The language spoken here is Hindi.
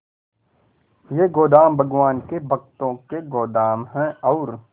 ये गोदाम भगवान के भक्तों के गोदाम है और